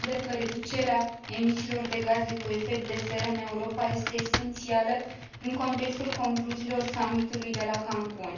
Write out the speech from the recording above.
Consider că reducerea emisiilor de gaze cu efect de seră în Europa este esențială, în contextul concluziilor Summitului de la Cancun.